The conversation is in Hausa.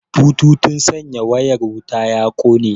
Bututun sanya wayar wuta ya kone